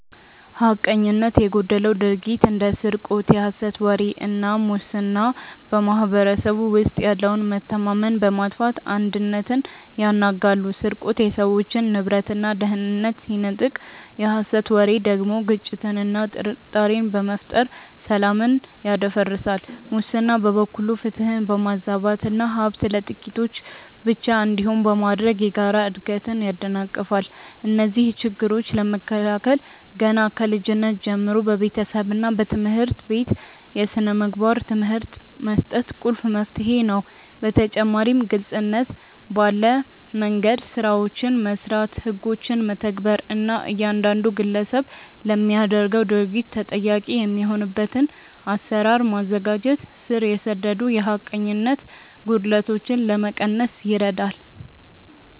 ሐቀኝነት የጎደለው ድርጊት እንደ ስርቆት፣ የሐሰት ወሬ እና ሙስና በማኅበረሰቡ ውስጥ ያለውን መተማመን በማጥፋት አንድነትን ያናጋሉ። ስርቆት የሰዎችን ንብረትና ደህንነት ሲነጥቅ፣ የሐሰት ወሬ ደግሞ ግጭትንና ጥርጣሬን በመፍጠር ሰላምን ያደፈርሳል። ሙስና በበኩሉ ፍትህን በማዛባትና ሀብት ለጥቂቶች ብቻ እንዲሆን በማድረግ የጋራ እድገትን ያደናቅፋል። እነዚህን ችግሮች ለመከላከል ገና ከልጅነት ጀምሮ በቤተሰብና በትምህርት ቤት የሥነ ምግባር ትምህርት መስጠት ቁልፍ መፍትሄ ነው። በተጨማሪም ግልጽነት ባለ መንደምገድ ስራዎችን መስራት፣ ህጎችን መተግበር እና እያንዳንዱ ግለሰብ ለሚያደርገው ድርጊት ተጠያቂ የሚሆንበትን አሰራር ማዘጋጀት ስር የሰደዱ የሐቀኝነት ጉድለቶችን ለመቀነስ ይረዳል።